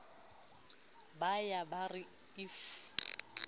ba ya ba re if